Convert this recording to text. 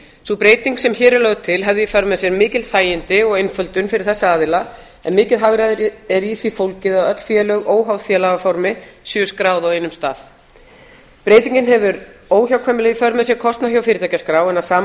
sú breyting sem hér er lögð til hefði í för með sér mikil þægindi og einföldun fyrir þessa aðila en mikið hagræði er í því fólgið að öll félög óháð félagaformi séu skráð á einum stað breytingin hefur óhjákvæmilega í för með sér kostnað hjá fyrirtækjaskrá en að sama